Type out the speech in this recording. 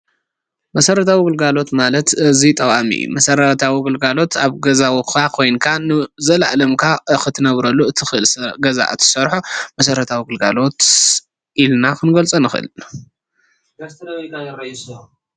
መሰራዊ ግልጋለሎት ማለት ኣዝዩ ጠቃሚ እዩ፡፡ መሰራተዊ ግልጋሎት ኣብ ገዛውትካ ኮይንካን ንዘላኣለምካ ክትነብረሉ እትክእል ኣብ ገዛካ እትሰርሖ መሰረታዊ ግለጋሎት ኢልና ክንገልፂ ንክእል፡፡